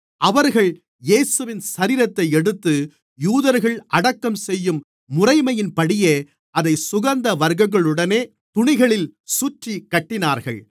அவர்கள் இயேசுவின் சரீரத்தை எடுத்து யூதர்கள் அடக்கம் செய்யும் முறைமையின்படியே அதைச் சுகந்தவர்க்கங்களுடனே துணிகளில் சுற்றிக் கட்டினார்கள்